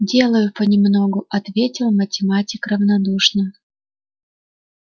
делаю по-немногу ответил математик равнодушно